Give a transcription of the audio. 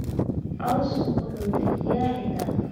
Cawsku wuxuu dejiyaa ciidda.